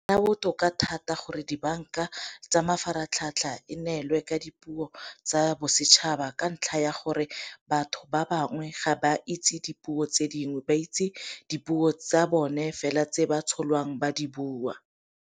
Nna botoka thata gore dibanka tsa mafaratlhatlha e neelwe ka dipuo tsa bosetšhaba ka ntlha ya gore batho ba bangwe ga ba itse dipuo tse dingwe, ba itse dipuo tsa bone fela tse ba tsholwang ba di bua.